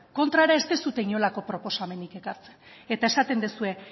kontrara ez duzue inolako proposamenik ekartzen eta esaten duzue